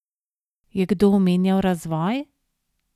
Je kdo omenjal razvoj?